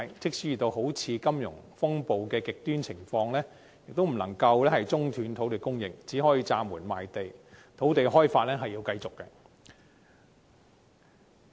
即使遇到如金融風暴等極端情況，亦不能中斷土地供應，即使要暫緩賣地，土地開發仍要繼續。